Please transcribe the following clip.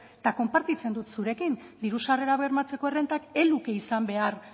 eta konpartitzen dut zurekin diru sarrerak bermatzeko errentak ez luke izan behar